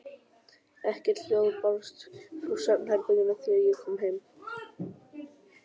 Ekkert hljóð barst frá svefnherberginu þegar ég kom heim.